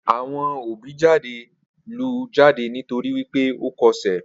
Awọn òbí jade lù jade nítorì wípé ọ kọ ṣẹ.